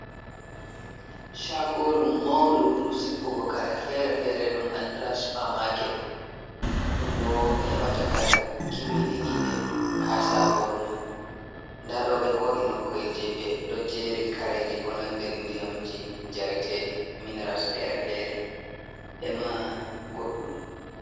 Chagoru maundu ndu sippugo kare fere-fere ɗum andira spermarket, ɗum bo hebata kare kimmiɗiniɗe ha shagoru man, nda ɗo be ho’i nokku’el je ɓe ɗo jeri kareji ko nanden ndiyamji jaretedi, mineras fere-fere, ema goɗɗum.